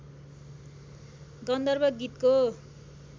गन्धर्व गीतको